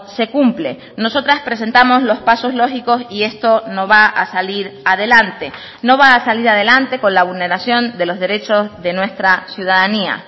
se cumple nosotras presentamos los pasos lógicos y esto no va a salir adelante no va a salir adelante con la vulneración de los derechos de nuestra ciudadanía